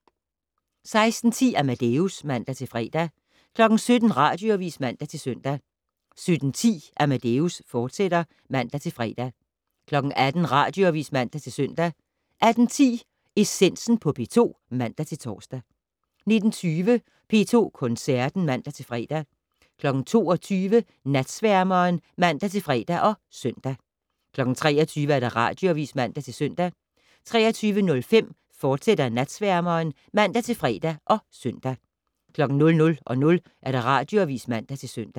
16:10: Amadeus (man-fre) 17:00: Radioavis (man-søn) 17:10: Amadeus, fortsat (man-fre) 18:00: Radioavis (man-søn) 18:10: Essensen på P2 (man-tor) 19:20: P2 Koncerten (man-fre) 22:00: Natsværmeren (man-fre og søn) 23:00: Radioavis (man-søn) 23:05: Natsværmeren, fortsat (man-fre og søn) 00:00: Radioavis (man-søn)